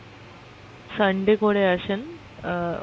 আহ Sunday করে আসেন আহ